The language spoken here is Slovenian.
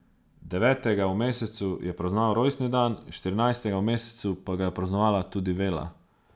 Devetega v mesecu je praznoval rojstni dan, štirinajstega v mesecu pa ga je praznovala tudi Vela.